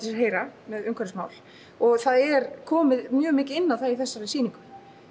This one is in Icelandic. sér heyra með umhverfismál og það er komið mjög mikið inn á það í þessari sýningu